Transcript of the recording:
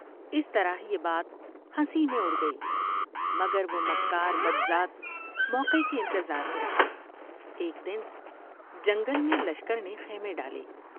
اس طرح یہ بات ہنسی میں اڑ گئی مگر وہ مکار بدذات موقعے کے انتظار میں رہا۔ ایک دن جنگل میں لشکر نے خیمے ڈالے ۔